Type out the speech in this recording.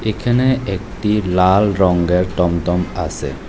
এখানে একটি লাল রঙের টমটম আছে।